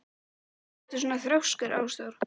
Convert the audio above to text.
Af hverju ertu svona þrjóskur, Ásdór?